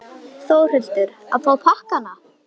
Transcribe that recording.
Þórhildur: Að fá pakkana?